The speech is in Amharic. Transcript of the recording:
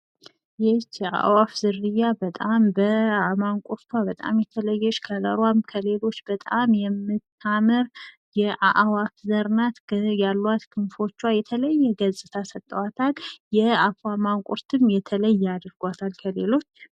ይች የአዋፍ ዝርያ በጣም በማንቁርቷ በጣም የተለዬች ከለሯም ከሌሎች በጣም የምታምር የአዋፍ ዘር ናት። ያሏት ክንፎቿ የተለዬ ገፅታ ሰተዋታል። የአፏ ማንቁርትም የተለዬ አድርጓታል ከሌሎች።